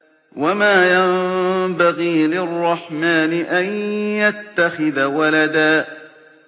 وَمَا يَنبَغِي لِلرَّحْمَٰنِ أَن يَتَّخِذَ وَلَدًا